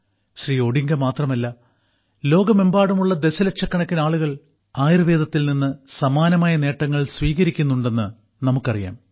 Shri Odinga മാത്രമല്ല ലോകമെമ്പാടുമുള്ള ദശലക്ഷക്കണക്കിന് ആളുകൾ ആയുർവേദത്തിൽ നിന്ന് സമാനമായ നേട്ടങ്ങൾ സ്വീകരിക്കുന്നുണ്ടെന്ന് നമുക്കറിയാം